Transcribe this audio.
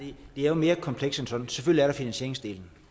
det er jo mere komplekst end som så selvfølgelig er der finansieringsdelen